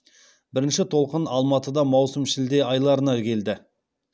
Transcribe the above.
бірінші толқын алматыда маусым шілде айларына келді